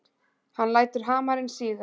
Hann lætur hamarinn síga.